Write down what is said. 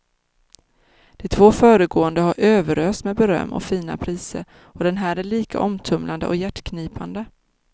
De två föregående har överösts med beröm och fina priser, och den här är lika omtumlande och hjärtknipande.